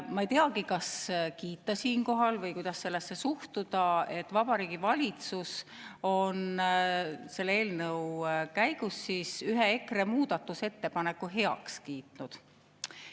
Ma ei teagi, kas kiita siinkohal või kuidas sellesse suhtuda, et Vabariigi Valitsus on selle eelnõu käigus EKRE muudatusettepanekutest ühe heaks kiitnud.